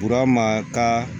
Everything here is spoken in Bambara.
Burama ka